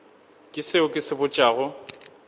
ke seo ke se botšago